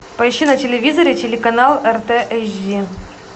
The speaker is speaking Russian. поищи на телевизоре телеканал рт эйч ди